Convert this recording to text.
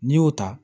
N'i y'o ta